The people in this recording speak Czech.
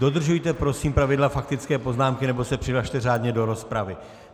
Dodržujte prosím pravidla faktické poznámky, nebo se přihlaste řádně do rozpravy.